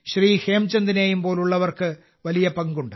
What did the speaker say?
ഹേംചന്ദിനെയും പോലുള്ളവർക്ക് വലിയ പങ്കുണ്ട്